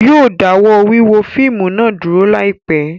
Yóò dáwọ́ wíwo fíìmù náà dúró láìpẹ́